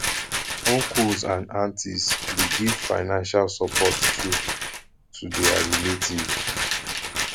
uncles and aunties de give financial support too to their relative